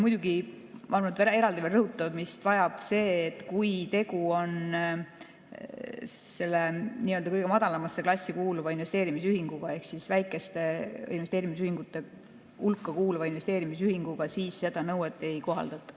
Muidugi, ma arvan, et veel eraldi rõhutamist vajab see, et kui tegu on nii-öelda kõige madalamasse klassi kuuluva investeerimisühinguga ehk väikeste investeerimisühingute hulka kuuluva investeerimisühinguga, siis seda nõuet ei kohaldata.